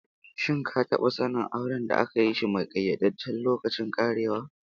Shin ka taba sanin auren da aka yi shi mai kayyadajjen lokacin karewa?